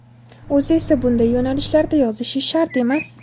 O‘zi esa bunday yo‘nalishlarda yozishi shart emas.